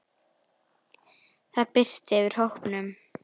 Það birti yfir hópnum.